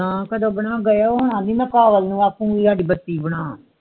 ਨਾ ਕਦੋ ਬਣਾ ਕੇ ਗਏ ਹੁਣ ਐਂਡੀ ਮਈ ਘਰ ਵਾਲੇ ਨੂੰ ਅਖੁੰਗੀ ਹਾੜੀ ਬੱਤੀ ਬਣਾ